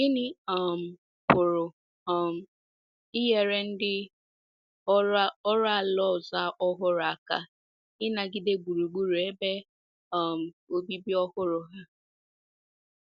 Gịnị um pụrụ um inyere ndị oru ala ọzọ ọhụrụ aka ịnagide gburugburu ebe um obibi ọhụrụ ha?